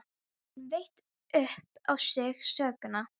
Hann veit upp á sig sökina.